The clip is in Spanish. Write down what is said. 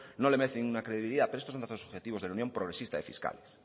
no le merecen una credibilidad pero estos son datos objetivos del unión progresista de fiscales